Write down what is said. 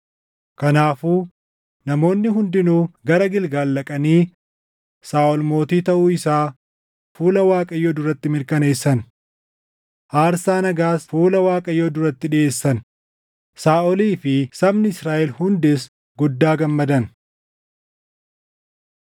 Kanaafuu namoonni hundinuu gara Gilgaal dhaqanii Saaʼol mootii taʼuu isaa fuula Waaqayyoo duratti mirkaneessan. Aarsaa nagaas fuula Waaqayyoo duratti dhiʼeessan; Saaʼolii fi sabni Israaʼel hundis guddaa gammadan.